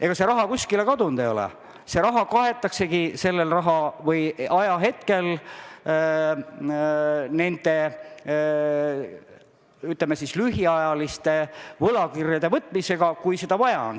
Ega see raha kuskile kadunud ei ole, see raha kaetaksegi konkreetsel hetkel nende, ütleme siis, lühiajaliste võlakirjade võtmisega, kui seda vaja on.